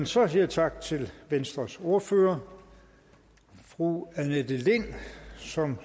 så siger jeg tak til venstres ordfører fru annette lind som